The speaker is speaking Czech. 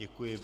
Děkuji.